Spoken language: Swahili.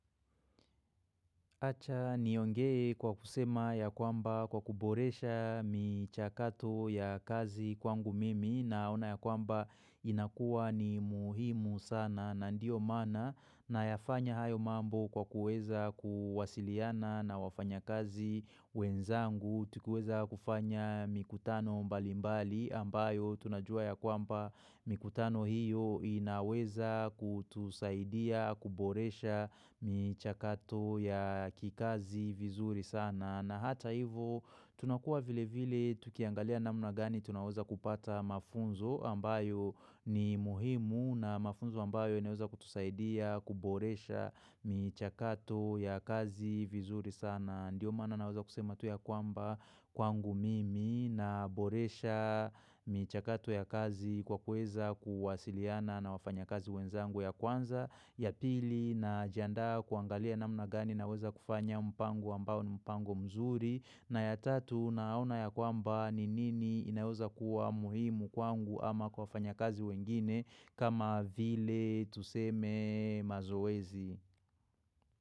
Acha niongee kwa kusema ya kwamba kwa kuboresha michakato ya kazi kwangu mimi naona ya kwamba inakua ni muhimu sana na ndio maana nayafanya hayo mambo kwa kuweza kuwasiliana na wafanya kazi wenzangu. Tukiweza kufanya mikutano mbalimbali ambayo tunajua ya kwamba mikutano hiyo inaweza kutusaidia, kuboresha michakato ya kikazi vizuri sana. Na hata hivo tunakua vile vile tukiangalia namna gani tunaweza kupata mafunzo ambayo ni muhimu na mafunzo ambayo inaweza kutusaidia, kuboresha michakato ya kazi vizuri sana. Na ndiyo mana naweza kusema tu ya kwamba kwangu mimi naboresha michakato ya kazi kwa kuweza kuwasiliana na wafanya kazi wenzangu ya kwanza. Ya pili najiandaa kuangalia namna gani naweza kufanya mpango ambao ni mpango mzuri. Na ya tatu naona ya kwamba ni nini inaweza kuwa muhimu kwangu ama kwa wafanya kazi wengine kama vile tuseme mazooezi.